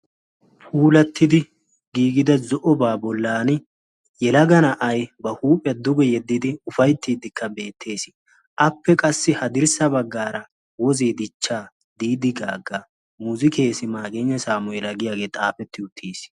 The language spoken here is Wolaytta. Puulatidi gigida zo'oba bollani yelaga na'aay ba huuphiya duge yedidi ufayttidika beetees. Appe qassi haddirssa baggaara woze dichcha didi gaga muzikees magiyno samuela giyagee xaafeti uttiis.